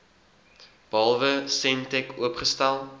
behalwe sentech oopgestel